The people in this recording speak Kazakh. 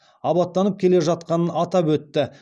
абаттанып келе жатқанын атап өтті